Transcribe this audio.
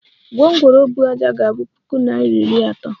Gwongworo buu ájá ga abu puku naira iri atọ